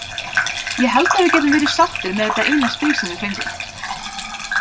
Ég held að við getum verið sáttir með þetta eina stig sem við fengum.